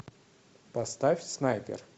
поставь снайпер